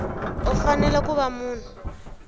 u fanele ku va munhu